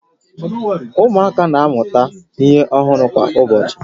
Ụmụaka na-amụta ihe ọhụrụ kwa ụbọchị